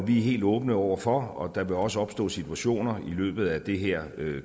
helt åbne over for og der vil også opstå situationer i løbet af det her